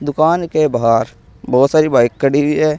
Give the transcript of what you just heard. दुकान के बाहर बहुत सारी बाइक खड़ी हुई है।